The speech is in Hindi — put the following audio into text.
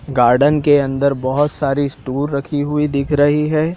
गार्डन के अंदर बहोत सारी रखी हुई दिख रही है।